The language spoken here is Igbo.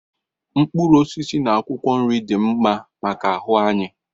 Mkpụrụ osisi na akwụkwọ nri dị mma maka ahụ anyị